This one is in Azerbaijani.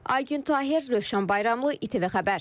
Aygün Tahir, Rövşən Bayramlı, İTV Xəbər.